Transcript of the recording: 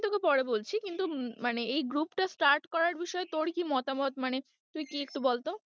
তোকে পরে বলছি কিন্তু মানে এই group টা start করার বিষয়ে তোর কি মতামত মানে তুই কি একটু বলতো?